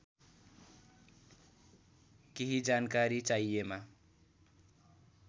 केही जानकारी चाहिएमा